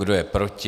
Kdo je proti?